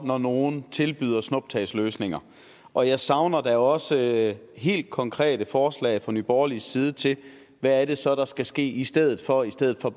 når nogle tilbyder snuptagsløsninger og jeg savner da også helt konkrete forslag fra nye borgerliges side til hvad det så er der skal ske i stedet for i stedet for